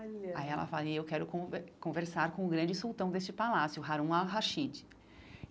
Olha Aí ela fala, e eu quero conver conversar com o grande sultão deste palácio, Harun al-Rashid.